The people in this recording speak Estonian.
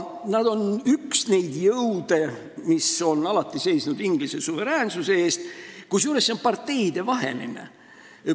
Nad on üks neid jõude, mis on alati seisnud Inglise suveräänsuse eest, kusjuures see on parteidevaheline grupp.